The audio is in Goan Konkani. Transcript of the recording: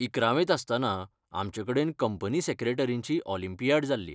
इकरावेंत आसतना आमचेकडेन कंपनी सॅक्रेटरींची ऑलंपियाड जाल्ली.